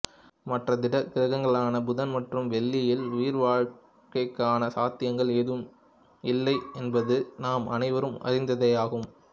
மற்ற திட கிரகங்களான புதன் மற்றும் வெள்ளியில் உயிர் வாழ்க்கைக்கான சாத்தியங்கள் ஏதுமில்லை என்பது நாம் அனைவரும் அறிந்ததேயாகும்